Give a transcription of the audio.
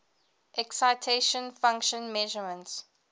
excitation function measurements